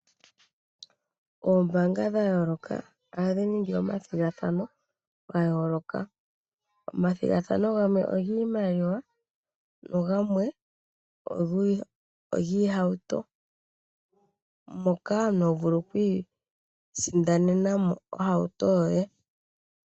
Oombaanga dha yooloka ohadhi ningi omathigathano ga yooloka. Omathigathano gamwe ogiimaliwa nogamwe ogiihauto, moka omuntu ho vulu oku isindanena mo ohauto yoye.